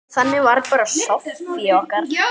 Þannig var bara Soffía okkar.